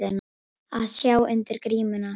Að sjá undir grímuna